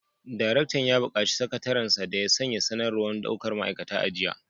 Daraktan ya bukaci sakatariyar sa da ya sanya sanarwar daukar ma’aikata a jiya